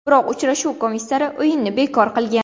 Biroq uchrashuv komissari o‘yinni bekor qilgan.